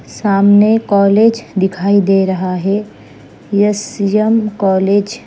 सामने कॉलेज दिखाई दे रहा है एस_एम कॉलेज --